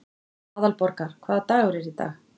Aðalborgar, hvaða dagur er í dag?